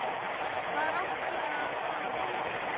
Hvar átti ég þá að sitja?